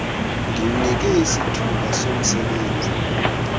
ndimnike isithuba somsebenzi